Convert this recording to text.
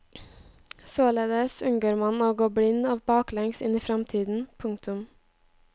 Således unngår man å gå blind og baklengs inn i fremtiden. punktum